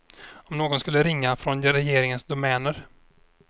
Om någon skulle ringa från regeringens domäner.